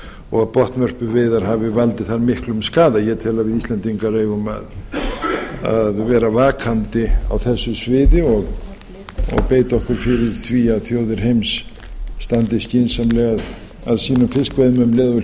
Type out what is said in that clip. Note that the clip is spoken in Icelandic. og að botnvörpuveiðar hafi valdið þar miklum skaða ég tel að við íslendingar eigum að vera vakandi á þessu sviði og beita okkur fyrir því að þjóðir heims standi skynsamlega að sínum fiskveiðum um leið og við